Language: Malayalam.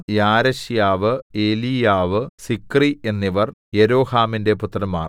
യാരെശ്യാവു എലീയാവു സിക്രി എന്നിവർ യെരോഹാമിന്റെ പുത്രന്മാർ